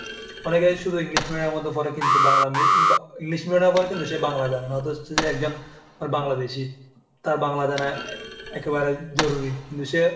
অনেকে আছে শুধু english medium এর মধ্যে পড়ে। কিন্তু বাংলা~ english medium এ পড়ে কিন্তু সে বাংলা জানে না। কিন্তু সে হচ্ছে যে একজন Bangladeshi, তার বাংলা জানাএ~ একেবারেই জরুরী। কিন্তু সে,